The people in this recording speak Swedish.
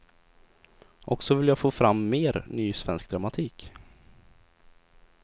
Och så vill jag få fram mer ny svensk dramatik.